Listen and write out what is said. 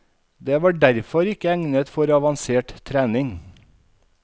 Det var derfor ikke egnet for avansert trening.